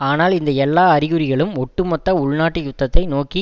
ஆனால் இந்த எல்லா அறிகுறிகளும் ஒட்டுமொத்த உள்நாட்டு யுத்தத்தை நோக்கி